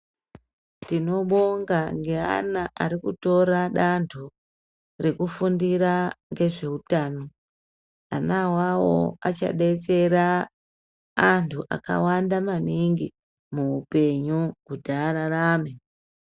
Tinobonga ngeana arikutora danto rekufundira ngezveutano. Ana awawo achadetsera antu akawanda maningi muupenyu kuti ararame .